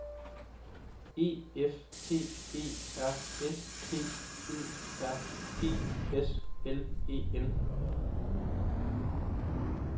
E F T E R S P Ø R G S L E N